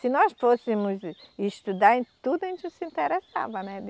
Se nós fôssemos estudar em tudo, a gente se interessava, né?